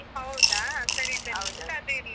ಹೌದಾ, ಸರಿ ಸರಿ .